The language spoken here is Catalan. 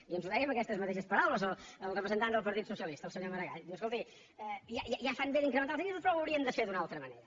i ens ho deia amb aquestes mateixes paraules el representant del partit socialista el senyor maragall diu escolti ja fan bé d’incrementar els ingressos però ho haurien de fer d’una altra manera